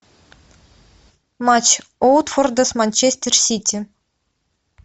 матч уотфорда с манчестер сити